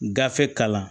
Gafe kalan